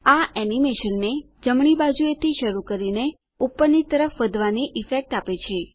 આ એનીમેશનને જમણી બાજુએથી શરૂ કરીને ઉપરની તરફ વધવાની ઈફેક્ટ આપે છે